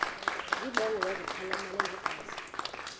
zibongo zazlphllmela engazi